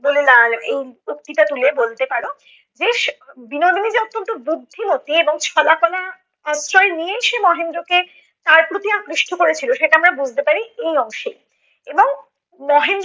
বলে এই উক্তিটা তুলে বলতে পারো বেশ বিনোদিনী যে অত্যন্ত বুদ্ধিমতি এবং ছলা কলা আশ্রয় নিয়েই সে মহেন্দ্রকে তার প্রতি আকৃষ্ট করেছিল, সেটা আমরা বুঝতে পারি এই অংশে এবং